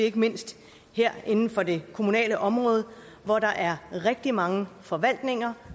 ikke mindst inden for det kommunale område hvor der er rigtig mange forvaltninger